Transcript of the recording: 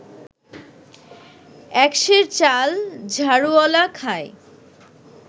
এক সের চাল ঝাড়ুওয়ালা খায়